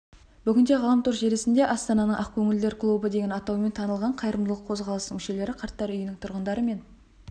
бүгінде ғаламтор желісінде астананың ақкөңілділер клубы деген атаумен танылған қайырымдылық қозғалысының мүшелері қарттар үйінің тұрғындары мен